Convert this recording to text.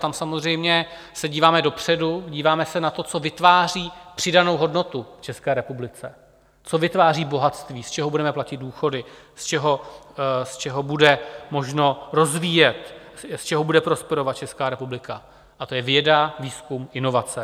Tam samozřejmě se díváme dopředu, díváme se na to, co vytváří přidanou hodnotu České republice, co vytváří bohatství, z čeho budeme platit důchody, z čeho bude možno rozvíjet, z čeho bude prosperovat Česká republika, a to je věda, výzkum, inovace.